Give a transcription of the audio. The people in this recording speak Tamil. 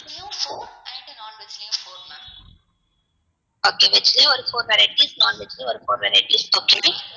okay veg லயும் ஒரு four varieties non veg லயும் ஒரு four varieties okay